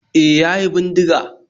E, ya yi bindiga